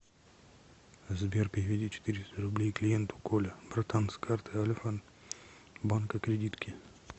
сбер переведи четыреста рублей клиенту коля братан с карты альфа банка кредитки